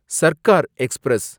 Sarkar express